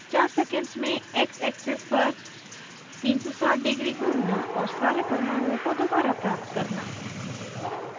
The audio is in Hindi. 4 सेकेंड्स में x axis पर 360º घूमना और सारे परमाणुओं को दोबारा प्राप्त करना